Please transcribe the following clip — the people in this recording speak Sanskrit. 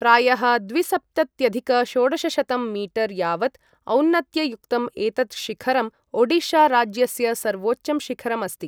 प्रायः द्विसप्तत्यधिक षोडशशतं मीटर् यावत् औन्नत्ययुक्तम् एतत् शिखरम् ओडिशा राज्यस्य सर्वोच्चं शिखरम् अस्ति।